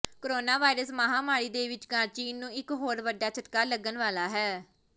coronavirus ਮਹਾਂਮਾਰੀ ਦੇ ਵਿਚਕਾਰ ਚੀਨ ਨੂੰ ਇੱਕ ਹੋਰ ਵੱਡਾ ਝਟਕਾ ਲੱਗਣ ਵਾਲਾ ਹੈ